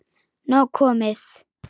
Nóg komið